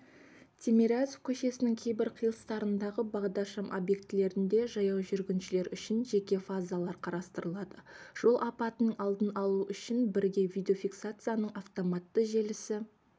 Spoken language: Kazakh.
тимирязев көшесінің кейбір қиылыстарындағы бағдаршам объектілерінде жаяу жүргіншілер үшін жеке фазалар қарастырылады жол апатының алдын алу үшін бірге видеофиксацияның автоматты желісі